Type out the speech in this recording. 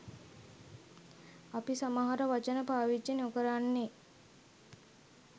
අපි සමහර වචන පාවච්චි නොකරන්නේ.